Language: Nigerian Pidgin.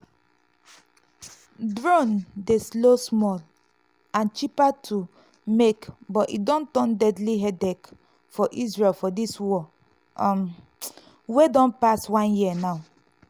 drone dey slow small and cheaper to make but e don turn deadly headache for israel for dis war um wey don pass one year now.